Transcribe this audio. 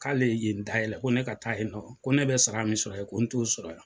K'ale ye yen dayɛlɛ ko ne taa yen nɔn, ko ne bɛ sara min sɔrɔ yen, ko ne t'o sɔrɔ yan.